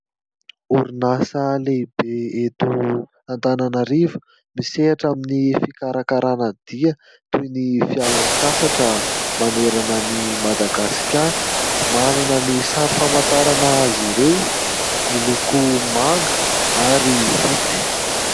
Orinasa lehibe eto Antananarivo misehatra amin'ny fikarakarana dia toy ny fialan-tsasatra manerana an'ny Madagasikara. Manana ny sary famantarana azy ireo miloko manga ary fotsy.